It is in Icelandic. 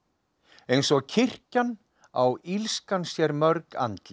eins og kirkjan á illskan sér mörg andlit